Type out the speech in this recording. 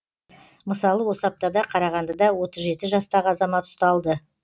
мысалы осы аптада қарағандыда отыз жеті жастағы азамат ұсталды